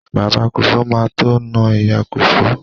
Bàbá Kòfó má tó na ìyá Kòfó.